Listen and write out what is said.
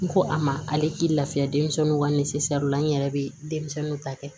N ko a ma ale k'i lafiya denmisɛnw ka la n yɛrɛ bɛ denmisɛnninw ta kɛ